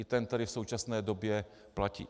I ten, který v současné době platí.